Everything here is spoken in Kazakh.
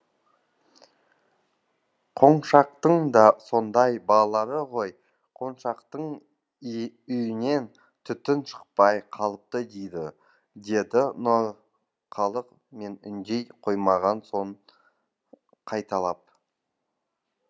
қоңқаштың да сондай балалары ғой қоңқаштың үйінен түтін шықпай қалыпты дейді деді нұрқалық мен үндей қоймаған соң қайталап